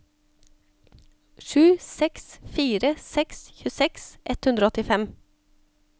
sju seks fire seks tjueseks ett hundre og åttifem